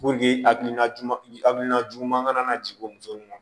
hakilina juguman hakilina juguman ka na jigin o muso nun na